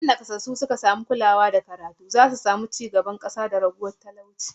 In nakasassu suka samu kulawa da karatu, za'a samu karuwar ci gaban kasa da raguwar talauci